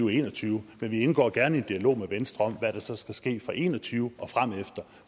og en og tyve men vi indgår gerne i en dialog med venstre om hvad der så skal ske fra og en og tyve og fremefter